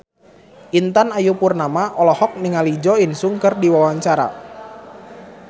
Intan Ayu Purnama olohok ningali Jo In Sung keur diwawancara